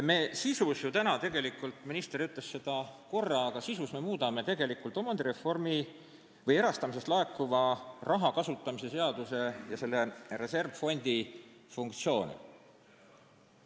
Me täna tegelikult sisu mõttes – minister ütles seda korra – muudame erastamisest laekuva raha kasutamise seaduse ja selle reservfondi funktsioone.